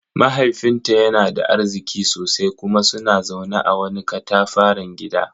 Mahaifinta yana da arziki sosai kuma suna zaune a wani katafaren gida.